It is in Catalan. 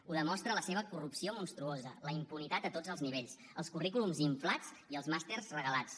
ho demostra la seva corrupció monstruosa la impunitat a tots els nivells els currículums inflats i els màsters regalats